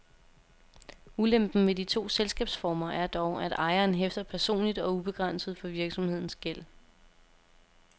Ulempen ved de to selskabsformer er dog, at ejeren hæfter personligt og ubegrænset for virksomhedens gæld.